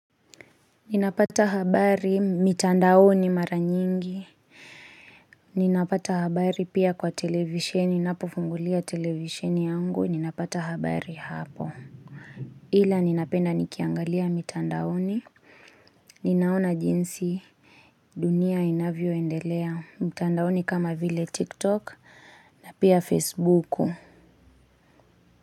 Ninapata habari mitandaoni mara nyingi. Ninapata habari pia kwa televisheni. Ninapofungulia televisheni yangu. Ninapata habari hapo. Ila ninapenda nikiangalia mitandaoni. Ninaona jinsi dunia inavyo endelea. Mitandaoni kama vile TikTok. Na pia Facebook.